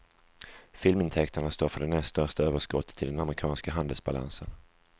Filmintäkterna står för det näst största överskottet i den amerikanska handelsbalansen.